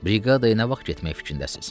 Briqadaya nə vaxt getmək fikrindəsiz?